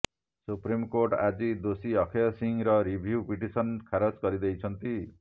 supreme court ଆଜି ଦୋଷୀ ଅକ୍ଷୟ ସିଂହର ରିଭ୍ୟୁ ପିଟିସନ୍ ଖାରଜ କରିଦେଇଛନ୍ତି